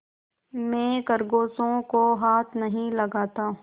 मैं खरगोशों को हाथ नहीं लगाता